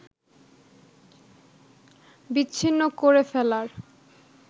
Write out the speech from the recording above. বিচ্ছিন্ন করে ফেলার